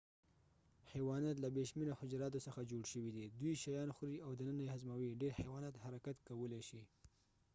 حيوانات له بې شمیره حجراتو څخه جوړ شوې دې دوی شیان خوري او دننه یې هضموي ډير حيوانات حرکت کولي شې